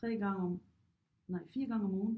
3 gange om nej 4 gange om ugen